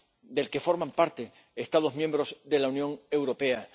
del que forman parte Estados miembros de la Unión Europea.